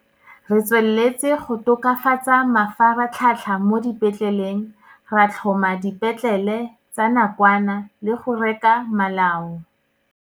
Re tsweletse go tokafatsa mafaratlhatlha mo dipetleleng, ra tlhoma dipetlele tsa nakwana le go reka malao.